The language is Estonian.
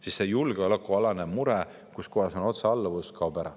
Siis see julgeolekualane mure, otsealluvus, kaoks ära.